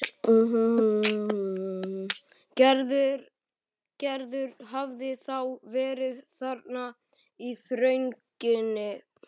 Gerður hafði þá verið þarna í þrönginni.